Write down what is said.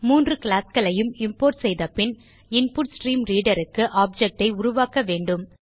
3 classகளையும் இம்போர்ட் செய்தபின் InputStreamReaderக்கு ஆப்ஜெக்ட் ஐ உருவாக்க வேண்டும்